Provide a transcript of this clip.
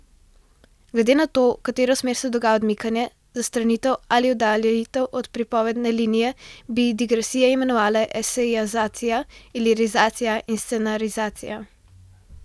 Glede na to, v katero smer se dogaja odmikanje, zastranitev ali oddaljitev od pripovedne linije, bi digresije imenovala esejizacija, lirizacija in scenarizacija.